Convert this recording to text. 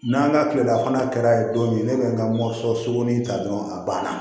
N'an ka kilela fana kɛra don min ne bɛ n ka mɔso in ta dɔrɔn a banna